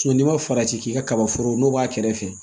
n'i ma farati k'i ka kaba foro n'o b'a kɛrɛfɛ